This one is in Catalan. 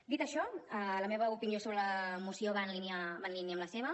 dit això la meva opinió sobre la moció va en línia amb la seva